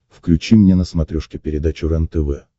включи мне на смотрешке передачу рентв